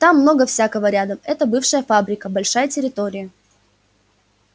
там много всякого рядом это бывшая фабрика большая территория